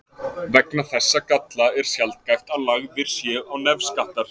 Vegna þessa galla er sjaldgæft að lagðir séu á nefskattar.